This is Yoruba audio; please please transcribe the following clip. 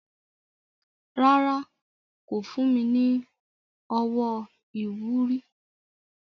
Rárá, kò fún mi ní owó ìwúrí.